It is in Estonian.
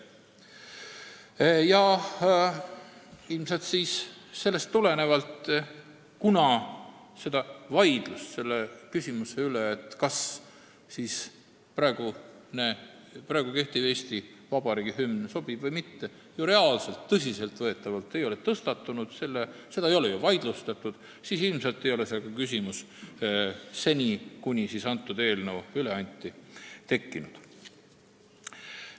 Ilmselt sellest tulenevalt, kuna vaidlus selle küsimuse üle, kas kehtiv Eesti Vabariigi hümn sobib või mitte, ei ole reaalselt, tõsiselt võetavalt tõstatunud, seda ei ole ju vaidlustatud, seda küsimust seni, kuni see eelnõu üle anti, ei tekkinud.